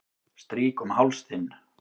Strýk um háls þinn.